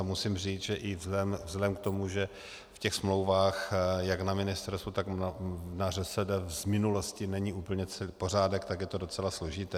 A musím říct, že i vzhledem k tomu, že v těch smlouvách jak na Ministerstvu, tak na ŘSD z minulosti není úplně pořádek, tak je to docela složité.